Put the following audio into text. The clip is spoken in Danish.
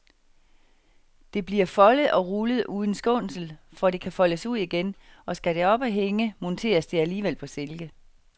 Det bliver foldet og rullet uden skånsel, for det kan foldes ud igen, og skal det op at hænge, monteres det alligevel på silke.